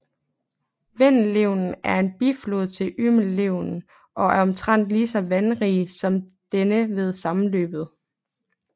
Vindelälven er en biflod til Umeälven og er omtrent lige så vandrig som denne ved sammenløbet